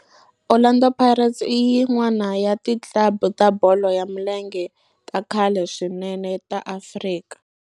Orlando Pirates i yin'wana ya ti club ta bolo ya milenge ta khale swinene ta Afrika.